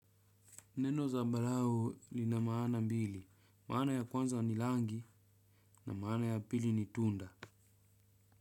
Neno zambarau lina maana mbili. Maana ya kwanza ni rangi na maana ya pili ni tunda.